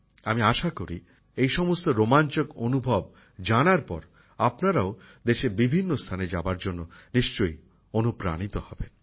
আমি আশা করি যে এই সমস্ত রোমাঞ্চকর তথ্য জানার পর আপনারাও দেশের বিভিন্ন স্থানে যাবার জন্য নিশ্চয়ই অনুপ্রানিত হবেন